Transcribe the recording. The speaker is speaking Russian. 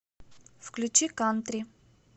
включи кантри